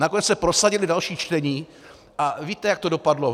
Nakonec se prosadila další čtení a víte, jak to dopadlo.